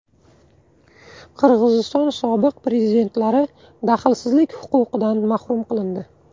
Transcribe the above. Qirg‘iziston sobiq prezidentlari daxlsizlik huquqidan mahrum qilindi.